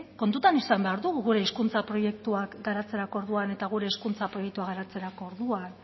kontutan izan behar dugu gure hizkuntza proiektuak garatzerako orduan eta gure hezkuntza proiektua garatzerako orduan